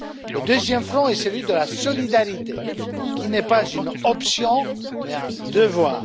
Le deuxième front est celui de la solidarité, qui n'est pas une option mais un devoir.